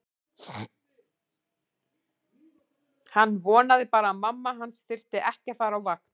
Hann vonaði bara að mamma hans þyrfti ekki að fara á vakt.